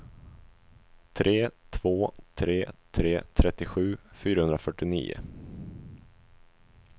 tre två tre tre trettiosju fyrahundrafyrtionio